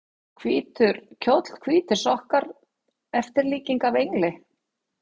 hvítur kjóll hvítir sokkar eftirlíking af engli?